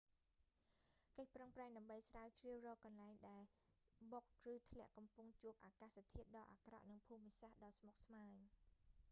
កិច្ចប្រឹងប្រែងដើម្បីស្រាវជ្រាវរកកន្លែងដែលដែលបុកឬធ្លាក់កំពុងជួបអាកាសធាតុដ៏អាក្រក់និងភូមិសាស្ត្រដ៏ស្មុគស្មាញ